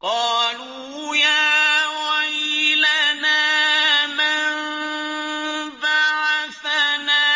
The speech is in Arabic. قَالُوا يَا وَيْلَنَا مَن بَعَثَنَا